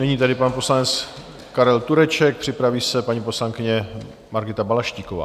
Nyní tedy pan poslanec Karel Tureček, připraví se paní poslankyně Margita Balaštíková.